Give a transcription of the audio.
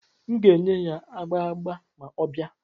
M ga-enye ya agba agba ma ọ bịa.